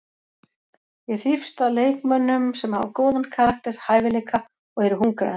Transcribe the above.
Ég hrífst að leikmönnum sem hafa góðan karakter, hæfileika og eru hungraðir.